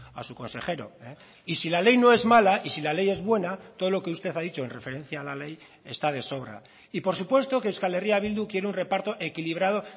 a su consejero y si la ley no es mala y si la ley es buena todo lo que usted ha dicho en referencia a la ley está de sobra y por supuesto que euskal herria bildu quiere un reparto equilibrado